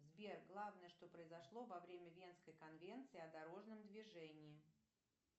сбер главное что произошло во время венской конвенции о дорожном движении